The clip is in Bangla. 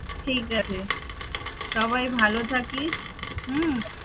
ঠিক আছে, সবাই ভালো থাকিস হম